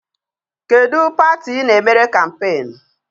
Kedụ pati I na-emere kampeenu?